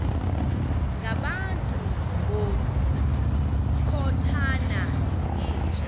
ngabantu ngokukhothana yinja